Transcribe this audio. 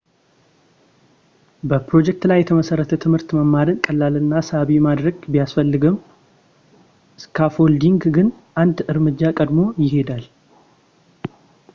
በፕሮጀክት ላይ የተመሠረተ ትምህርት መማርን ቀላል እና ሳቢ ማድረግ ቢያስፈልግም ፣ ስካፎልዲንግ ግን አንድ እርምጃ ቀድሞ ይሄዳል